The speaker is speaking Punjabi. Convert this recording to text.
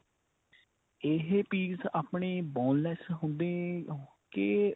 ਇਹ piece ਆਪਣੇ boneless ਹੁੰਦੇ ਕੇ